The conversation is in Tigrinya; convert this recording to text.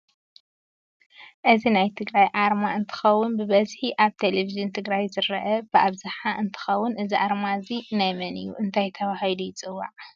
እዚ ናይ ትግራይ ኣርማ እንትከውን ብበዝሒ ኣብ ተለቨጅን ትግራይ ዝርአ ብኣብዝሓ እንትከን እዚ ኣርማ እዚ ናይ መን እዩ እንታይ ተበሂሊሉ ይፅዋዒ?